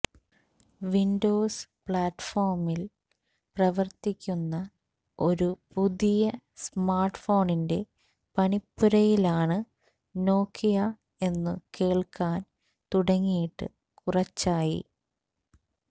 Windows പ്ലാറ്റ്ഫോമില് പ്രവര്ത്തിക്കുന്ന ഒരു പുതിയ സ്മാര്ട്ട്ഫോണിന്റെ പണിപ്പുരയിലാണ് നോക്കിയ എന്നു കേള്ക്കാന് തുടങ്ങിയിട്ട് കുറച്ചായി